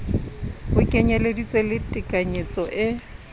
ho kenyeleditse le tekanyetso e